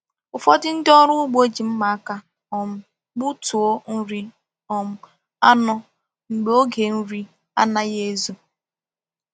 Ụfọdụ ndị ọrụ ugbo ji mma aka um gbutuo nri um anụ mgbe oge nri anaghị ezo